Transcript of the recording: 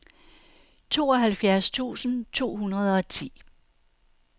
tooghalvfjerds tusind to hundrede og ti